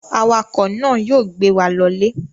Awakọ̀ náà yóò gbé wa lọlé.